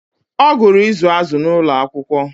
ọ gụrụ izu azụ̀ n'ụlọ akwụkwọ